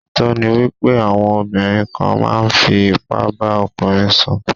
Òótọ́ ni wípé àwọn obìnrin kan máa ń fi ipá bá ọkùnrin sùn.